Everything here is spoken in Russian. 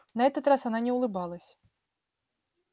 на этот раз она не улыбалась